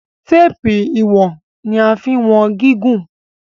Téèpù iwọn ni a fín wón gígùn.